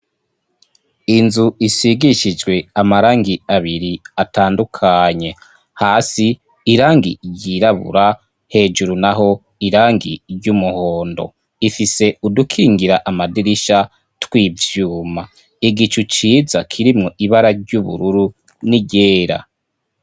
inzu isigishijwe amarangi abiri atandukanye hasi irangi ryirabura hejuru naho irangi ry'umuhondo ifise udukingira amadirisha tw'ivyuma igicu ciza kirimwo ibara ry'ubururu n'iryera